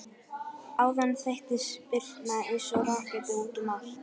Áðan þeyttist Birna eins og raketta út um allt.